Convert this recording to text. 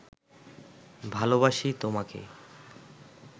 ভালবাসি তোমাকে